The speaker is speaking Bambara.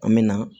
An bɛ na